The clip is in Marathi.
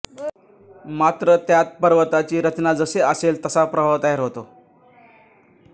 मात्र त्यात पर्वताची रचना जशी असेल तसा प्रवाह तयार होतो